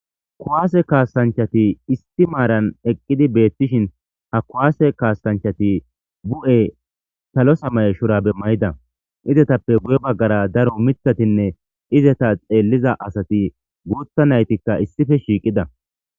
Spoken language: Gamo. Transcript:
Kuwasse kassanchchatti issi maran eqqidi betiishshin ha kuwasse kassanchchatti bu'e sallo samaye shurabe mayidda izettappe guye baggara daro miiththatinne izetta xeeliiza assati guththa naytika issippe shiiqida